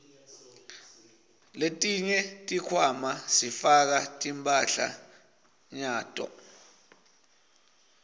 letinye tikhwama sifaka timphahlanyato